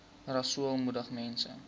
rasool moedig mense